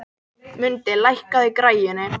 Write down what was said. Mundi, lækkaðu í græjunum.